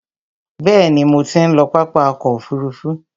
Bẹ̀ẹ̀ni, mo ti ń lọ pápá ọkò òfurufú.